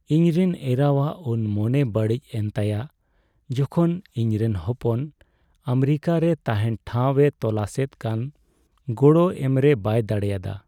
ᱤᱧᱨᱮᱱ ᱮᱨᱟᱣᱟᱜ ᱩᱱ ᱢᱚᱱᱮ ᱵᱟᱹᱲᱤᱡ ᱮᱱ ᱛᱟᱭᱟ ᱡᱚᱠᱷᱚᱱ ᱤᱧᱨᱮᱱ ᱦᱚᱯᱚᱱ ᱟᱢᱮᱨᱤᱠᱟᱨᱮ ᱛᱟᱦᱮᱱ ᱴᱷᱟᱣᱼᱮ ᱛᱚᱞᱟᱥᱮᱫ ᱠᱟᱱ ᱜᱚᱲᱚ ᱮᱢᱨᱮ ᱵᱟᱭ ᱫᱟᱲᱮᱭᱟᱫᱟ ᱾